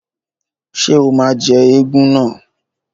Ṣé o máa jẹ́ éégún náà?